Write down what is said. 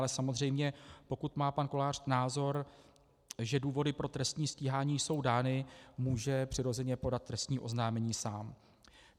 Ale samozřejmě, pokud má pan Kolář názor, že důvody pro trestní stíhání jsou dány, může přirozeně podat trestní oznámení sám.